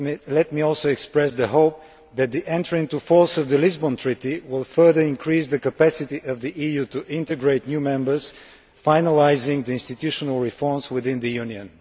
Let me also express the hope that the entry into force of the Lisbon Treaty will further increase the capacity of the EU to integrate new members, finalising the institutional reforms within the Union.